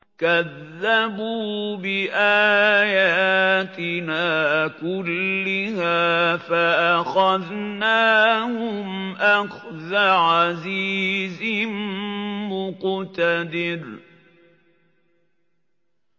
كَذَّبُوا بِآيَاتِنَا كُلِّهَا فَأَخَذْنَاهُمْ أَخْذَ عَزِيزٍ مُّقْتَدِرٍ